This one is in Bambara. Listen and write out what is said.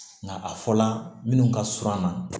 Nka a fɔla minnu ka surun an na